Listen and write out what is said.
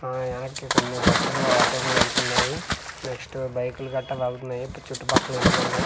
ఆ యార్డ్ కి కొన్ని బస్లు ఆటోలు వెళ్తున్నాయి నెక్స్ట్ బైక్లు గట్రా ఇప్పుడు చుట్టూ పక్కల ఇల్లులు ఉన్నాయి.